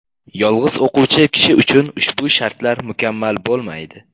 Yolg‘iz o‘quvchi kishi uchun ushbu shartlar mukammal bo‘lmaydi.